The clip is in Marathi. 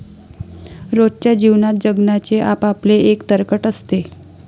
रोजच्या जीवनात जगण्याचे आपआपले एक तर्कट असते.